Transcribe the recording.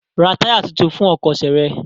Ra táyà tuntun fún ọkọ̀ ṣe rẹ!